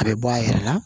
A bɛ bɔ a yɛrɛ la